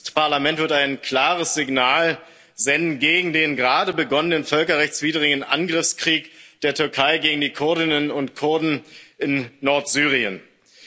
Ich denke, dieses Parlament wird ein klares Signal gegen den gerade begonnenen völkerrechtswidrigen Angriffskrieg der Türkei gegen die Kurdinnen und Kurden in Nordsyrien senden.